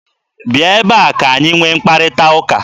Bia ebe a ka-anyị nwee mkparịta ụka!